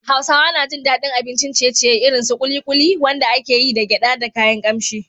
Hausawa na jin daɗin abincin ciye-ciye irin su ƙuliƙuli, wanda ake yi da gyada da kayan kamshi.